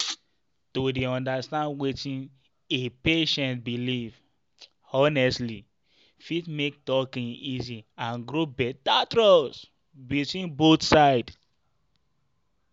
to dey understand wetin a patient believe honestly fit make talking easy and grow better trust between both sides.